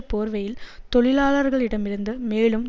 போர்வையில் தொழிலாளர்களிடமிருந்து மேலும்